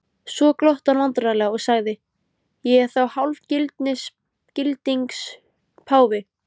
Svo glotti hann vandræðalega og sagði: Ég er þá hálfgildings páfi?